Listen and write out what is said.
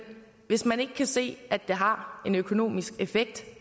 hvis man ikke kan se at det har en økonomisk effekt